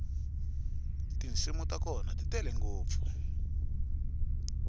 tinsimu ta kona ti tele ngopfu